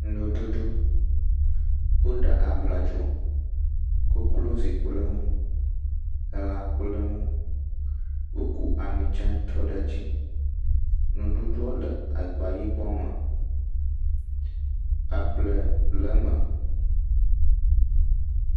Nuɖuɖu, woɖa abladzo, koklozi kple ŋu elã kple ŋu, woku ami dze trɔ ɖe edzi, nuɖuɖuɔ le agba yibɔ me, able le eme.